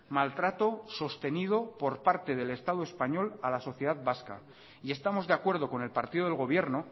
maltrato sostenido por parte del estado español a la sociedad vasca y estamos de acuerdo con el partido del gobierno